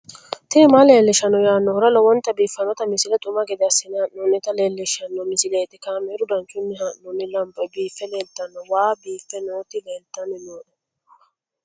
tini maa leelishshanno yaannohura lowonta biiffanota misile xuma gede assine haa'noonnita leellishshanno misileeti kaameru danchunni haa'noonni lamboe biiffe leeeltanno wahe biiffe nootti leeltanni nooe